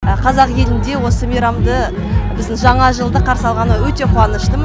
қазақ елінде осы мейрамды біздің жаңа жылды қарсы алғаныма қуаныштымын